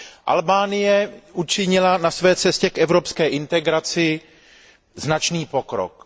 Albánie učinila na své cestě k evropské integraci značný pokrok.